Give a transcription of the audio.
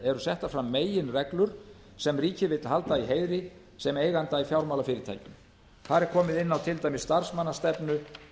eru settar aðra meginreglur sem ríkið vill halda í heiðri sem eiganda í fjármálafyrirtækjum þar er komið inn á til dæmis starfsmannastefnu